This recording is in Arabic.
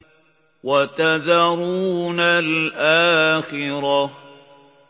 وَتَذَرُونَ الْآخِرَةَ